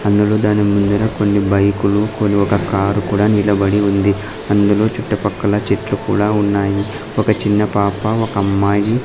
అందులో దాని ముందర కొన్ని బైకులు కొన్ని ఒక కారు కూడా నిలబడి ఉంది అందులో చుట్టుపక్కల చెట్లు కూడా ఉన్నాయి ఒక చిన్న పాప ఒకమ్మాయి --